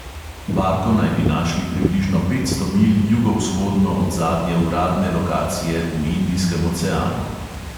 Barko naj bi našli približno petsto milj jugovzhodno od zadnje uradne lokacije v indijskem oceanu.